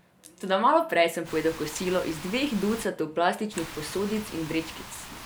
Toda malo prej sem pojedel kosilo iz dveh ducatov plastičnih posodic in vrečkic.